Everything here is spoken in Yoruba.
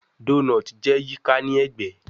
Donut jẹ yika ni ẹgbẹ